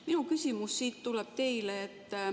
Minu küsimus teile tuleb siit.